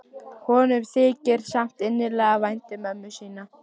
Honum þykir samt innilega vænt um mömmu sína.